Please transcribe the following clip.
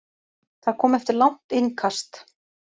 Það kom eftir langt innkast.